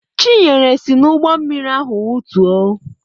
Chinyere si n'ụgbọ mmiri ahụ wutuo.